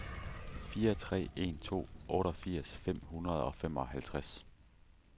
fire tre en to otteogfirs fem hundrede og femoghalvtreds